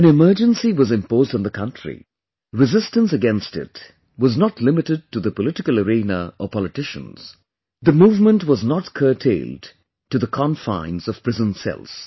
When Emergency was imposed on the country, resistance against it was not limited to the political arena or politicians; the movement was not curtailed to the confines of prison cells